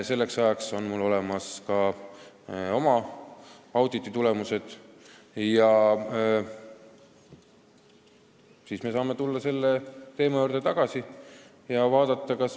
Selleks ajaks on mul olemas ka oma auditi tulemused.